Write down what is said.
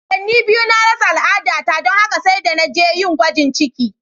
Watanni biyu na rasa al'adata don haka sai da na je yin gwajin ciki.